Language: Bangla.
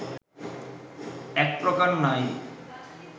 একপ্রকার নাই